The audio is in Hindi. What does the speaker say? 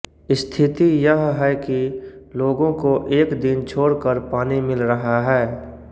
स्थिति यह है कि लोगों को एक दिन छोड़कर पानी मिल रहा है